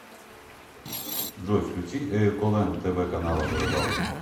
джой включи эиколэнд тэ вэ канала о рыбалке